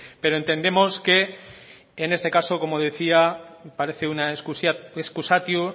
pero entendemos que en este caso como decía parece una excusatio